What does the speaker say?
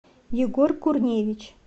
егор курневич